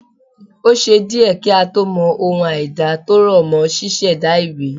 O ṣé díẹ̀ kí a tó mọ ohun àìda tó rọ̀ mọ́ ṣíṣẹ̀da ìwé